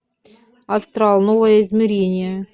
астрал новое измерение